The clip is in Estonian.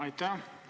Aitäh!